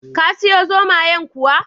Ka siyo zomayen kuwa?